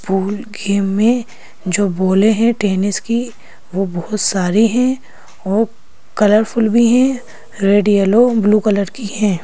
Pool game में जो बॉले हैं टेनिस की वो बहुत सारी हैं और कलरफुल भी हैं रेड येलो ब्लू कलर की है।